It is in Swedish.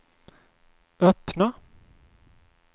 öppna